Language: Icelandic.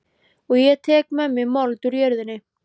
Og ég tek með mér mold úr jörðinni.